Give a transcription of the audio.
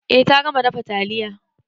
Eh ta gama dafa taliya.